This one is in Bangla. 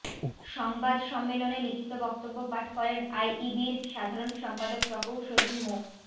সংবাদ সম্মেলনে লিখিত বক্তব্য পাঠ করেন আইইবির সাধারণ সম্পাদক প্রকৌশলী মো